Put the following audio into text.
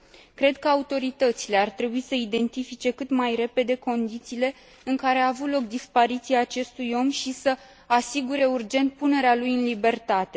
Cred că autoritățile ar trebui să identifice cât mai repede condițiile în care a avut loc dispariția acestui om și să asigure urgent punerea lui în libertate.